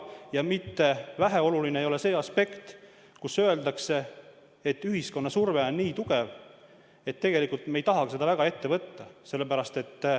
Ja väheoluline ei ole ka see aspekt, et öeldakse, et ühiskonna surve on nii tugev, et me ei taha seda väga ette võtta.